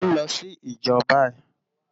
Mò n lò si ijò bàyi